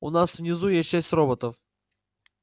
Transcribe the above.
у нас внизу есть шесть роботов